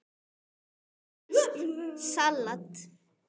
Franskt salat